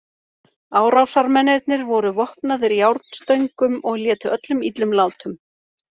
Árásarmennirnir voru vopnaðir járnstöngum og létu öllum illum látum.